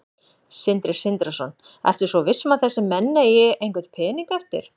Sindri Sindrason: Ertu svo viss um að þessir menn eigi einhvern pening eftir?